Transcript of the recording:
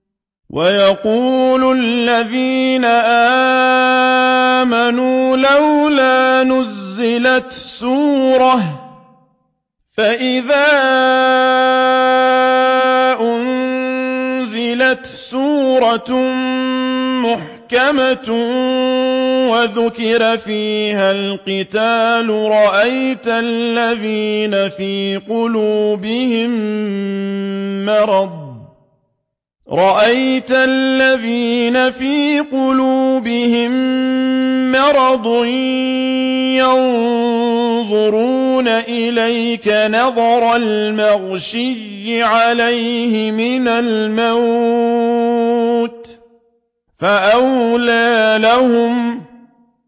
وَيَقُولُ الَّذِينَ آمَنُوا لَوْلَا نُزِّلَتْ سُورَةٌ ۖ فَإِذَا أُنزِلَتْ سُورَةٌ مُّحْكَمَةٌ وَذُكِرَ فِيهَا الْقِتَالُ ۙ رَأَيْتَ الَّذِينَ فِي قُلُوبِهِم مَّرَضٌ يَنظُرُونَ إِلَيْكَ نَظَرَ الْمَغْشِيِّ عَلَيْهِ مِنَ الْمَوْتِ ۖ فَأَوْلَىٰ لَهُمْ